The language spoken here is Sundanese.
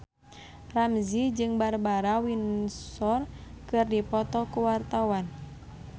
Ramzy jeung Barbara Windsor keur dipoto ku wartawan